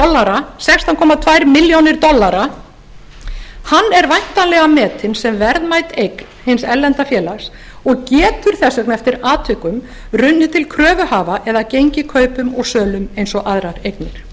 á sextán komma tvær milljónir dollara hann er væntanlega metinn sem verðmæt eign hins erlenda félags og getur þess vegna eftir atvikum runnið til kröfuhafa eða gengið kaupum og sölum eins og aðrar eignir